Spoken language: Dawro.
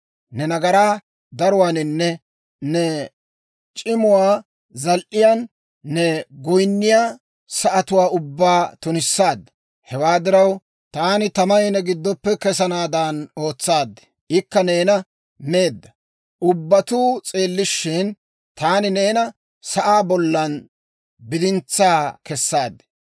Ne nagaraa daruwaaninne ne c'imuwaa zal"iyaan, ne goyinniyaa sa'atuwaa ubbaa tunissaadda. Hewaa diraw, taani tamay ne giddoppe kesanaadan ootsaad; ikka neena meedda. Ubbatuu s'eellishshin, taani neena sa'aa bollan bidintsaa kessaad.